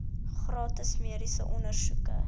gratis mediese ondersoeke